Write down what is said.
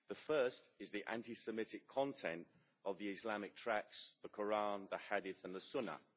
The first is the anti Semitic content of the Islamic tracts, the Qur'an, the Hadith and the Sunnah.